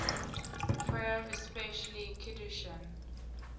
prayer especially kiddushin